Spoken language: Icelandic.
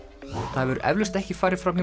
það hefur eflaust ekki farið fram hjá